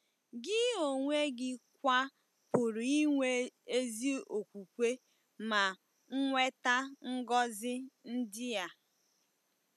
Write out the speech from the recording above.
Gị onwe gị kwa pụrụ inwe ezi okwukwe ma nweta ngọzi ndị a.